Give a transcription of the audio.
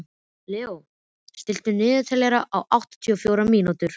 Leó, stilltu niðurteljara á áttatíu og fjórar mínútur.